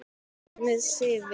Við hvað má Sif vinna?